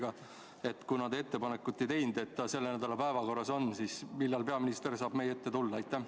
Kuna te ei teinud ettepanekut, et tema ülevaade on selle nädala päevakorras, siis millal peaminister saab meie ette tulla?